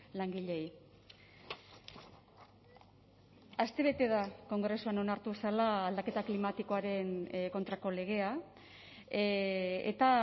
langileei astebete da kongresuan onartu zela aldaketa klimatikoaren kontrako legea eta